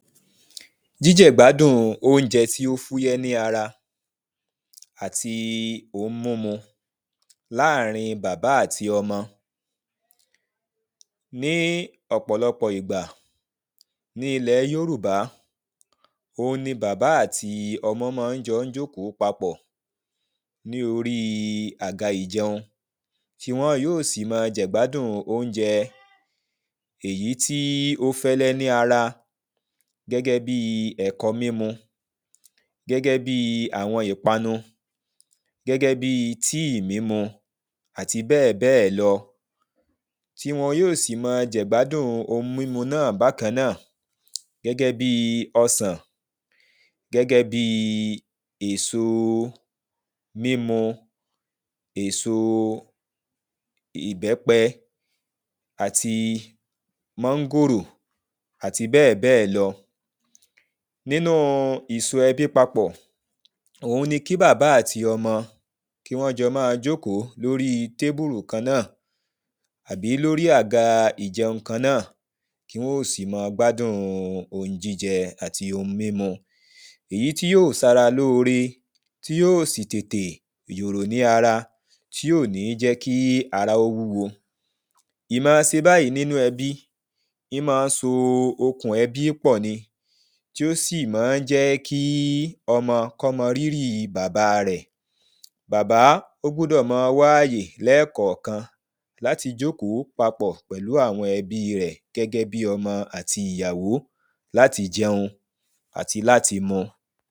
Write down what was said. jíjẹ̀gbádùn oúnjẹ tí ó fúyẹ́ ní ara àti ohun mímu láàrin bàbá àti ọmọ ní ọ̀pọ̀lọpọ̀ ìgbà ní ilẹ̀ yórùbá òhun ni bàbá àti ọmọ mọ jọ ń jókòó papọ̀ ní orí àga ìjẹun tí wọn yóò sì mọ jẹ̀gbádùn oúnjẹ èyí tí ó fẹ́lẹ́ ní ara gẹ́gẹ́ bí ẹ̀kọ mímu gẹ́gẹ́ bíi àwọn ìpanu, gẹ́gẹ́ bíi tíì mímu àti bẹ́ẹ̀ bẹ́ẹ̀ lọ tí wọn yóò sì máa jẹ̀gbádùn ohun mímu náà bákan náà gẹ́gẹ́ bíi ọsàn, gẹ́gẹ́ bíi èso mímu èso ìbẹ́pẹ àti mọ́ngòrò àti bẹ́ẹ̀ bẹ́ẹ̀ lọ nínu ìso ẹbí papọ̀ òhun ni kí bàbá àti ọmọ kí wọ́n jọ máa jókòó lórí tébùrù kan náà àbí lórí àga ìjẹun kan náà kí wọ́n ò sì ma gbádùn ohun jíjẹ àti ohun mímu èyí tí yóò sara lóore tí yóò sì tètè yòrò ní ara, tí ò ní jẹ́ kí ara ó wúwo ìmọ se báyìí nínú ẹbí ímọ án so okùn ẹbí pọ̀ ni tí ó sì mọ ń jẹ́ kí ọmọ kọ́ mo rírì bàba rẹ̀ bàbá ó gbúdọ̀ máa wá àyè lẹ́ẹ̀kọ̀kan láti jókòó papọ̀ pẹ̀lú àwọn ẹbí rẹ̀ gẹ́gé bí ọmọ àti ìyàwó láti jẹun àti láti mu.